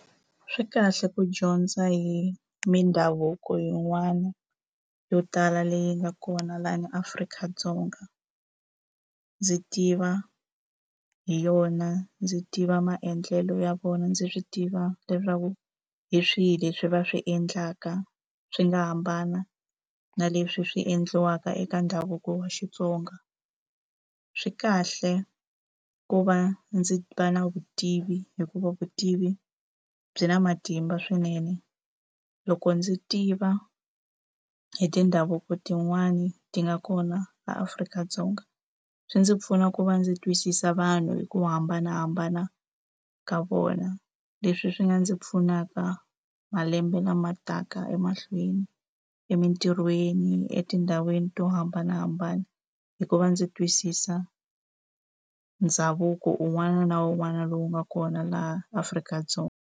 Swi kahle ku dyondza hi mindhavuko yin'wana yo tala leyi nga kona laha ni Afrika-Dzonga. Ndzi tiva hi yona, ndzi tiva maendlelo ya vona, ndzi swi tiva leswaku hi swihi leswi va swi endlaka swi nga hambana na leswi swi endliwaka eka ndhavuko wa Xitsonga. Swi kahle ku va ndzi va na vutivi hikuva vutivi byi na matimba swinene. Loko ndzi tiva hi mindhavuko tin'wani ti nga kona laha Afrika-Dzonga, swi ndzi pfuna ku va ndzi twisisa vanhu hi ku hambanahambana ka vona. Leswi swi nga ndzi pfunaka malembe lama taka emahlweni. Emitirhweni, etindhawini to hambanahambana, hikuva ndzi twisisa ndhavuko un'wana na un'wana lowu nga kona laha Afrika-Dzonga.